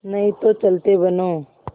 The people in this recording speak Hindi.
नहीं तो चलते बनो